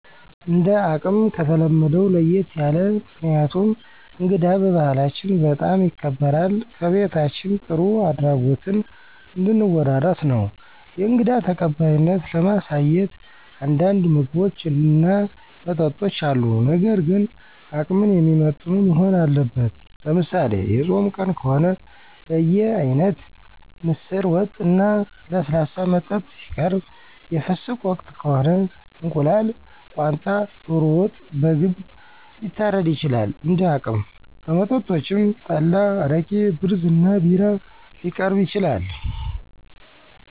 እንደ አቅም ከተለመደው ለየት ያለ። ምክንያቱም እንግዳ በባህላችን በጣም ይከበራል ከቤታችን ጥሩ አድራጎትን እንድን ወራረስ ነው። የእንግዳ ተቀባይነትን ለማሳየት አንዳንድ ምግቦች እና መጠጦች አሉ ነገር ግን አቅምን የሚመጥኑ መሆን አለበት። ለምሳሌ፦ የፆም ቀን ከሆነ በየአይነት፣ ምስር ወጥ፣ እና ለስላሳ መጠጥ ሲቀርብ የፍስክ ወቅት ከሆነ፦ እንቁላል፣ ቋንጣ፣ ዶሮ ወጥ፣ በግም ሊታረድ ይችላል እንደ አቅም። ከመጠጦችም፣ ጠላ አረቂ፣ ብርዝ እና ቢራ ሊቀርብ ይችላል።